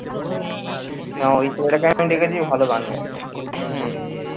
না ঐ তোর এখানে একটা দেখেছি ও ভালো গান গায়।